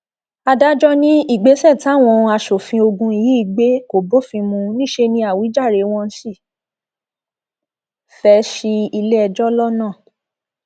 adájọ ní ìgbésẹ táwọn asòfin ogun yìí gbé kò bófin mu níṣẹ ní àwíjàre wọn sì fẹẹ ṣi iléẹjọ lọnà